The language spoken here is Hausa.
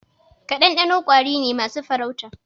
Ƙadandanko ƙwari ne masu farauta.